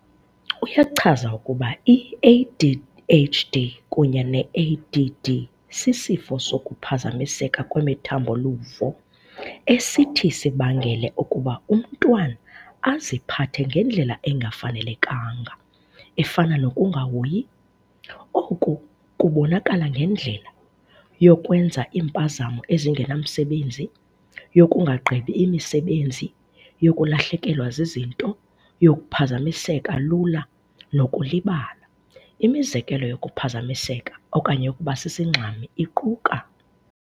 Uyachaza ukuba i-ADHD kunye ne-ADD sisifo sokuphazamiseka kwemithambo-luvo esithi sibangele ukuba umntwana aziphathe ngendlela engafanelekanga, efana nokungahoyi. Oku kubonakala ngendlela- yokwenza iimpazamo ezingenamsebenzi yokungagqibi imisebenzi yokulahlekelwa zizinto yokuphazamiseka lula nokulibala. Imizekelo yokuphazamiseka okanye yokuba sisingxami iquka.